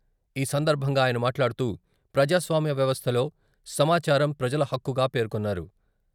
ఈ సందర్భంగా ఆయన మాట్లాడుతూ, ప్రజాస్వామ్య వ్యవస్థలో సమాచారం "ప్రజల హక్కుగా" పేర్కొన్నారు.